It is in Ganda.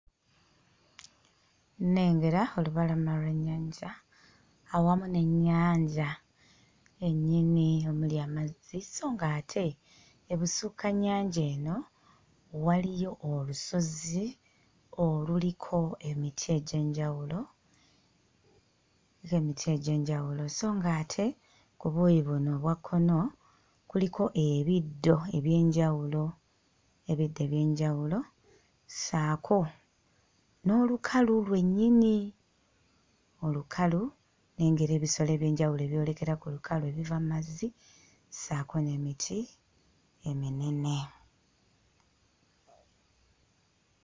Nnengera olubalama lw'ennyanja awamu n'ennyanja yennyini omuli amazzi so ng'ate ebusukkannyanja eno waliyo olusozi oluliko emiti egy'enjawulo z'emiti egy'enjawulo so ng'ate ku buuyi buno obwa kkono kuliko ebiddo eby'enjawulo ebiddo eby'enjawulo ssaako n'olukalu lwennyini olukalu. Nnengera ebisolo eby'enjawulo ebyolekera ku lukalu ebiva mu mazzi ssaako n'emiti eminene.